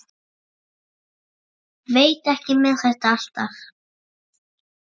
Veit ekki með þetta alltaf.